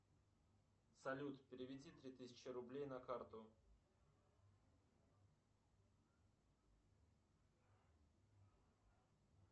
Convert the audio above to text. салют переведи три тысячи рублей на карту